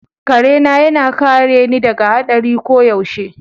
Kare na yana kare ni daga hadari koyaushe.